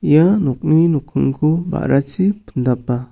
ia nokni nokningko ba·rachi pindapa.